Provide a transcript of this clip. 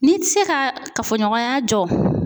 N'i ti se ka kafoɲɔgɔnya jɔ